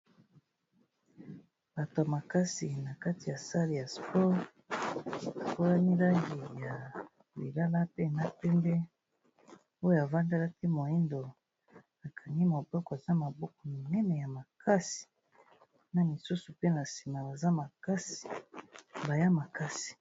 Bato ya makasi na kati ya sale ya sport, mwa langi ya lilala pe ya pemde, oyo a vandelaki moyindo a kangi moboko, aza mabuko minene ya makasi, na misusu pe na sima baza makasi, baza makasi .